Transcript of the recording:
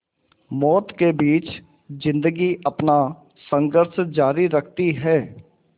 मौत के बीच ज़िंदगी अपना संघर्ष जारी रखती है